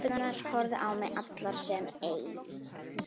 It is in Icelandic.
Stelpurnar horfðu á mig allar sem ein.